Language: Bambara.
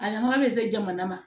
A nafa bɛ se jamana ma